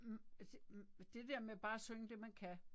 Hm hm det der med bare at synge det man kan